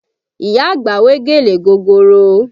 Ìyá àgbà wé gèlè gogoro